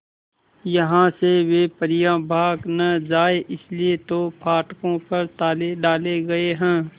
यहां से वे परियां भाग न जाएं इसलिए तो फाटकों पर ताले डाले गए हैं